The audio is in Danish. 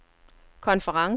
konferencen